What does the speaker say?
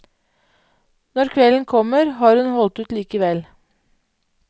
Når kvelden kommer, har hun holdt ut likevel.